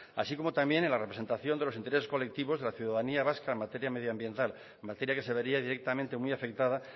así como también en la representación de los intereses colectivos de la ciudadanía vasca en materia medioambiental materia que se vería directamente muy afectada